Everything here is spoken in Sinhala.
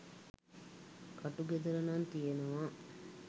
ක‍ටු ගෙදර නං තියෙනව